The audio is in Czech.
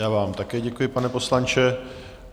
Já vám také děkuji, pane poslanče.